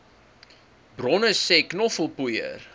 bronne sê knoffelpoeier